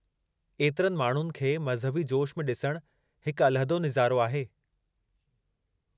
ऐतिरनि माण्हुनि खे मज़हबी जोश में ॾिसणु हिकु अलहदो निज़ारो आहे।